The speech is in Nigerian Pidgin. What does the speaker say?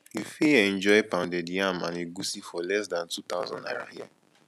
you fit enjoy pounded yam and egusi for less than two thousand naira here